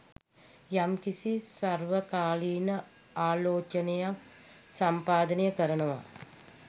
යම්කිසි සර්වකාලීන ආලෝචනයක් සම්පාදනය කරනවා